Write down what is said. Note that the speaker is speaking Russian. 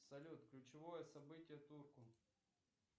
салют ключевое событие турку